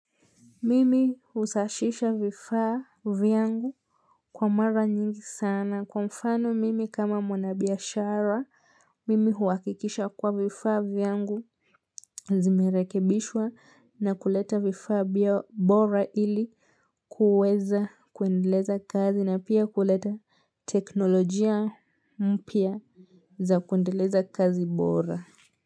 Mimi husashisha vifaa vyangu kwa mara nyingi sana kwa mfano mimi kama mwana biashara Mimi huhakikisha kuwa vifaa vyangu Zimerekebishwa na kuleta vifaa bora ili kuweza kuendeleza kazi na pia kuleta teknolojia mpya za kuendeleza kazi bora.